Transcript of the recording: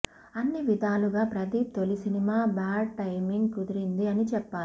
అన్ని విధాలుగా ప్రదీప్ తోలి సినిమా బాడ్ టైమింగ్ కుదిరింది అని చెప్పాలి